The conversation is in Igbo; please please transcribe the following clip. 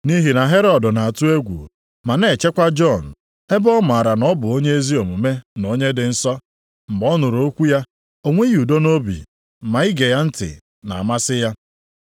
nʼihi na Herọd na-atụ egwu ma na-echekwa Jọn, ebe ọ maara na ọ bụ onye ezi omume na onye dị nsọ. Mgbe ọ nụrụ okwu ya, o nweghị udo nʼobi ma ige ya ntị na-amasị ya.